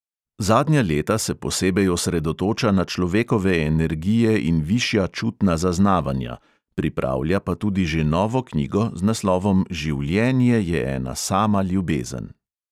Zadnja leta se posebej osredotoča na človekove energije in višja čutna zaznavanja, pripravlja pa tudi že novo knjigo z naslovom življenje je ena sama ljubezen.